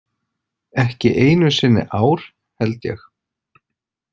Ekki einu sinni ár, held ég.